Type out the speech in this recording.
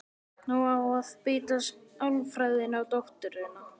Nú á að beita sálfræðinni á dótturina.